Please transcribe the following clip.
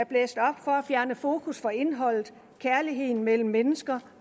fjerne fokus fra indholdet kærligheden mellem mennesker